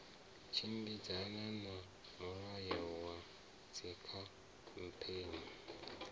tshimbidzana na mulayo wa dzikhamphani